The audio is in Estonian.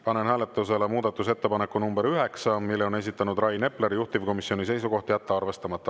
Panen hääletusele muudatusettepaneku nr 9, mille on esitanud Rain Epler, juhtivkomisjoni seisukoht on jätta arvestamata.